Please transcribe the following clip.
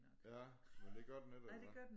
Ja men det gør den ikke eller hvad